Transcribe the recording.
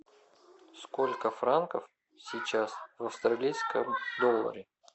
сколько франков сейчас в австралийском долларе